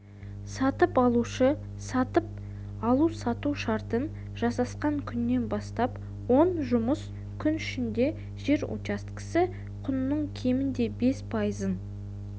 сатып алушы сатып алу-сату шартын жасасқан күннен бастап он жұмыс күні ішінде жер учаскесі құнының кемінде бес пайызын